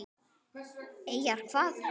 Eyjar hvað?